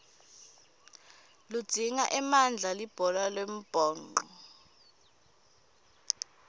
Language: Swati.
lidzinga emandla libhola lembhoco